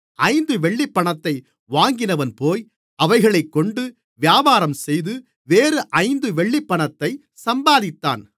ஐந்து வெள்ளிப்பணத்தை வாங்கினவன்போய் அவைகளைக்கொண்டு வியாபாரம் செய்து வேறு ஐந்து வெள்ளிப்பணத்தைச் சம்பாதித்தான்